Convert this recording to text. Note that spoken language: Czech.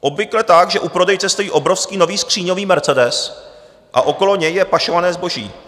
Obvykle tak, že u prodejce stojí obrovský nový skříňový mercedes a okolo něj je pašované zboží.